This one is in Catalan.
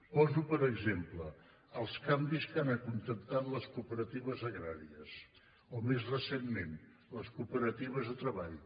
poso per exemple els canvis que han acontentat les cooperatives agràries o més recentment les cooperatives de treball